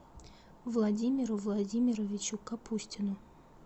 владимиру владимировичу капустину